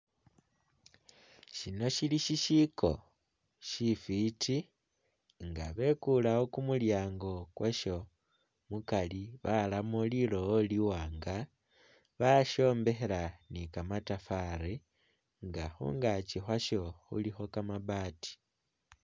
Syino syili syisyiko syifiti nga beekuleewo kumulyango kwasyo, mukari baramo lilowo liwanga, basyombekhela ni kamatafari nga khungaaki khwasyo khulukho kamabati.